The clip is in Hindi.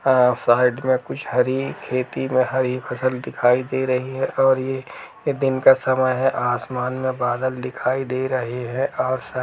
आ साइड में कुछ हरी खेती में हरी फसल दिखाई दे रही है और ये दिन का समय है। आसमान में बादल दिखाई दे रहे हैं और सा --